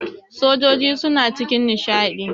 sojoji suna cikin nishadi